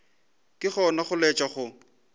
ke gona go laetša go